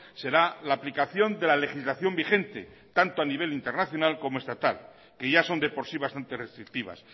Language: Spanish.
será la aplicación de la legislación vigente tanto a nivel internacional como estatal que ya son de por sí bastante restrictivas